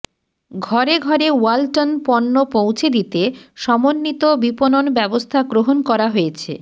ঘরে ঘরে ওয়ালটন পণ্য পৌঁছে দিতে সমন্বিত বিপণন ব্যবস্থা গ্রহণ করা হয়েছে